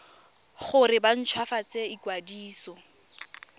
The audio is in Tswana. gore ba nt hwafatse ikwadiso